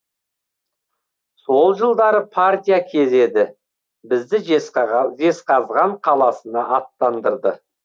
сол жылдары партия кезі еді бізді жезқазған қаласына аттандырды